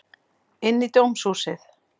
Inn í dómhúsið.